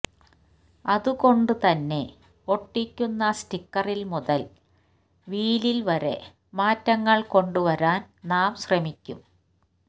അതുകൊണ്ട് തന്നെ ഒട്ടിക്കുന്ന സ്റ്റിക്കറിൽ മുതൽ വീലിൽ വരെ മാറ്റങ്ങൾ കൊണ്ടുവരാൻ നാം ശ്രമിക്കും